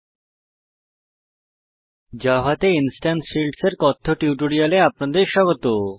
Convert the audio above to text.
Java তে instance fields instance field এর কথ্য টিউটোরিয়ালে আপনাদের স্বাগত